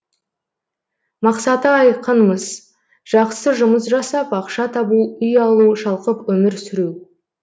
мақсаты айқын мыс жақсы жұмыс жасап ақша табу үй алу шалқып өмір сүру